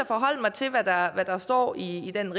forholde mig til hvad der står i den